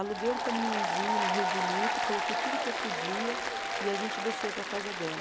Aluguei um caminhãozinho no Rio Bonito, coloquei tudo que eu podia e a gente desceu para a casa dela.